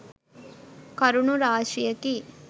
කරුණු රාශියකි.